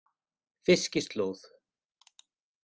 Fiskislóð